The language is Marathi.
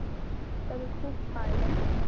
तरी खूप पाळलं ना.